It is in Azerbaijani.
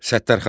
Səttərxan.